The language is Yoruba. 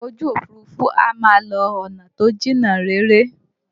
Ọkọ ojú Òfurufú a máa lọ ọ̀nà tó jìnnà réré